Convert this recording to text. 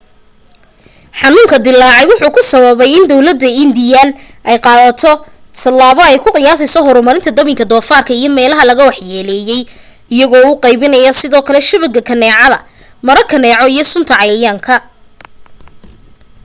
xanuunka dilaacay wuxuu ku sababay in dawladda indian ay qaado talabo ay ku qiyaaseyso horamarinta dabinka dofaarka iyo meelaha laga wax yeleyey iyago u qeybinaya sidoo kale shabaga kaneecada/maro kaneeco iyo suntan cayayaanka